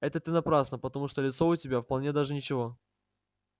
это ты напрасно потому что лицо у тебя вполне даже ничего